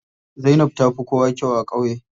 Zainab tafi kowa kyau a ƙauye.